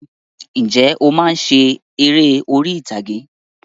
Ǹjẹ́ o máa ń ṣe eré orí ìtàgé?